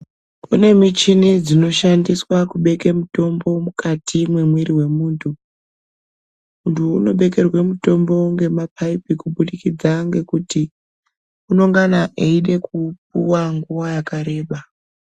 Kunemichini dzinoshandiswa kubeke mutombo mukati memwiri wemuntu. Muntu unobekerwe mutombo ngemapayipi kubudikidza ngekuti unongana eyide kupuwa nguwa yakareba.